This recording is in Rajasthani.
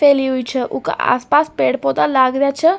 फैली उई छ उका अस पास पेड़ पौधा लाग रेहा छ।